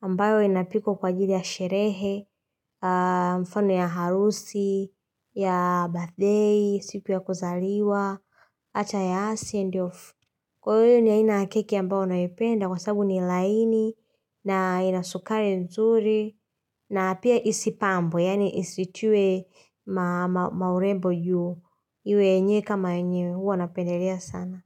ambayo inapikwa kwa jili ya sherehe, mfano ya harusi, ya birthday, siku ya kuzaliwa, hata ya asi and of. Kwa hiyo ni inakeki ambao naipenda kwa sababu ni laini na ina sukari nzuri na pia isipambwe yaani isitiwe maurembo juu iwe yenye kama enye huwa napendelea sana.